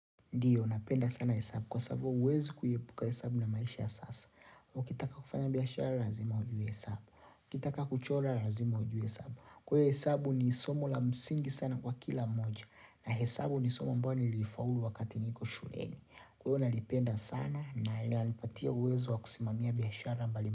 Ndiyo, napenda sana hesabu, kwa sababu huwezi kuepuka hesabu na maisha ya sasa kuwa ukitaka kufanya biashara, lazima ujue hesabu ukitaka kuchora, lazima ujue hesabu Kwa hio hesabu ni somo la msingi sana kwa kila moja na hesabu ni somo ambao nilifaulu wakati niko shuleni Kwa huo nalipenda sana na inanipatia uwezo wa kusimamia biashara mbali mbali.